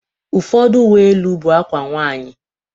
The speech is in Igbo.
Ụfọdụ Uwe elu bụ akwa nwanyị